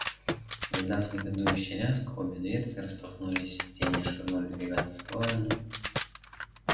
издав негодующий лязг обе дверцы распахнулись сиденья швырнули ребят в стороны